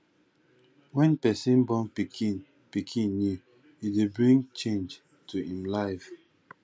when person born pikin pikin new e dey bring change to im life